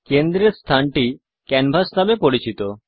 কেন্দ্রের স্থানটি ক্যানভাস নামে পরিচিত